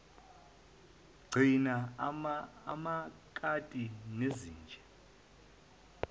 gcina amakati nezinja